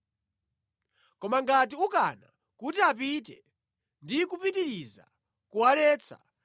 Koma ngati ukana kuti apite ndi kupitiriza kuwaletsa,